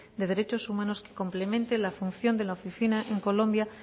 de derechos humanos que complemente la función de la oficina en colombia